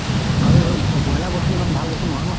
আৰু ব্ৰইলাৰ বস্তুটো ইমান ভাল বস্তু নহয় ন